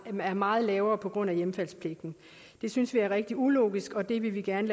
er meget lavere på grund af hjemfaldspligten det synes vi er rigtig ulogisk og det vil vi gerne